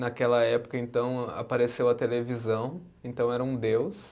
Naquela época, então, apareceu a televisão, então era um deus.